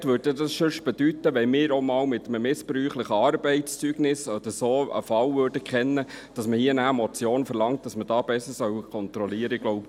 Umgekehrt bedeutete dies ja sonst, dass man, wenn wir mal von einem Fall mit einem missbräuchlichen Arbeitszeugnis Kenntnis hätten, mit einer Motion verlangt, dass man da besser kontrollieren solle.